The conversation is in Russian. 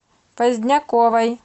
поздняковой